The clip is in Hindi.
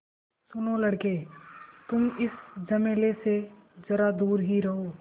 सुनो लड़के तुम इस झमेले से ज़रा दूर ही रहो